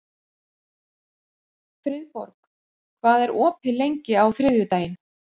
Friðborg, hvað er opið lengi á þriðjudaginn?